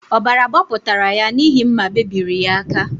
Ọbara gbapụtara ya n’ihi mma bebiri ya aka